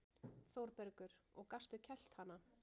ÞÓRBERGUR: Og gastu kælt hana?